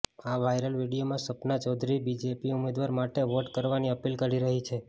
આ વાયરલ વીડિયોમાં સપના ચૌધરી બીજેપી ઉમેદવાર માટે વોટ કરવાની અપીલ કરી રહી છે